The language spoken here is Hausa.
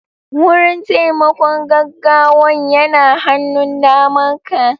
Wurin taimakon gaggawan yana hannun daman ka